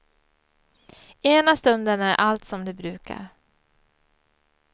Ena stunden är allt som det brukar.